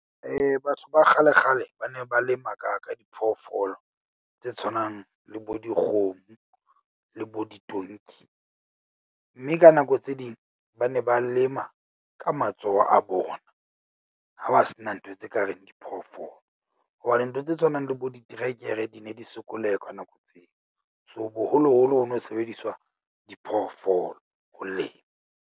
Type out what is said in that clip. Batho ba kgale kgale ba ne ba lema ka ka diphoofolo tse tshwanang le bo dikgomo le bo ditonki. Mme ka nako tse ding ba ne ba lema ka matsoho a bona. Ha ba se na ntho tse ka reng diphoofolo, hobane ntho tse tshwanang le bo diterekere di ne di sokoleha ka nako tseo. So, boholoholo ho no sebediswa diphoofolo ho lema.